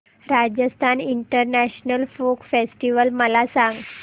Rajasthan international folk festival मला सांग